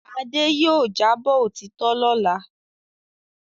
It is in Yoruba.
Adé yóò jábọ̀ òtítọ́ lọ́la.